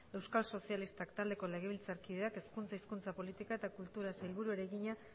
euskal sozialistak taldeko legebiltzarkideak hezkuntza hizkuntza politika eta kulturako sailburuari egina